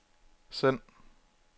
send